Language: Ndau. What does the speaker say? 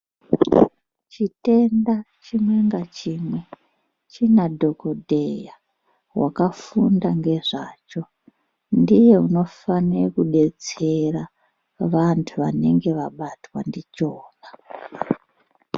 Chitenda chimwe ngachimwe china dhokodheya wakafunda ngezvacho ndiye unofane kudetsera vantu vanenge vabatwa ndichona.